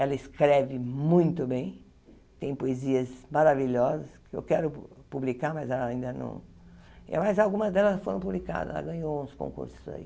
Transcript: Ela escreve muito bem, tem poesias maravilhosas que eu quero publicar, mas ela ainda não... Mas algumas delas foram publicadas, ela ganhou uns concursos aí.